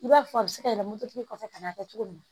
I b'a fɔ a bɛ se ka yɛlɛ moto tigi kɔfɛ ka n'a kɛ cogo min na